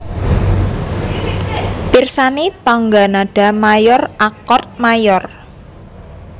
Pirsani tangga nada mayor akord mayor